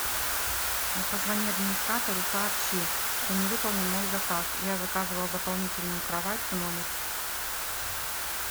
позвони администратору сообщи что не выполнен мой заказ я заказывала дополнительную кровать в номер